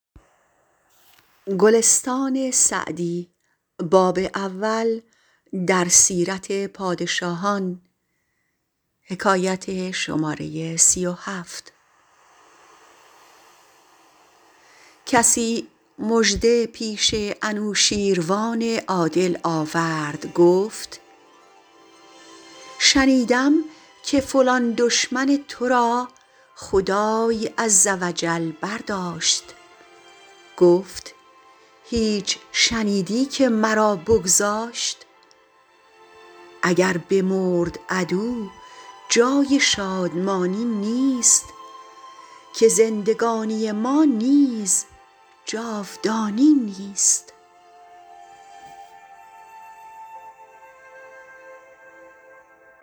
کسی مژده پیش انوشیروان عادل آورد گفت شنیدم که فلان دشمن تو را خدای عز و جل برداشت گفت هیچ شنیدی که مرا بگذاشت اگر بمرد عدو جای شادمانی نیست که زندگانی ما نیز جاودانی نیست